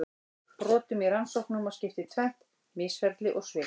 Brotum í rannsóknum má skipta í tvennt: misferli og svik.